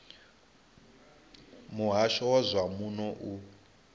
muhasho wa zwa muno u